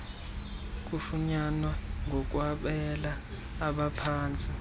kufunyanwa ngokwabela abaphantsi